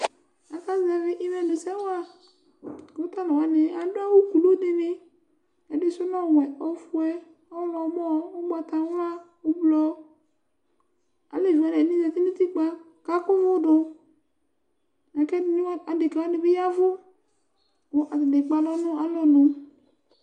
Akazɛvi imenʋsɛ wa kʋ talʋ wani adʋ awʋ kulu dini Ɛdi sʋ nʋ ɔwɛ, ɔfue, ɔwlɔmɔ, ʋgbatawla, ʋblʋɔ Alɛvi wani ɛdini zati nʋ utukpa kʋ akʋvu dʋ la kʋ adeka wani bi yavu kʋ atani ekpe alʋ nʋ alɔnu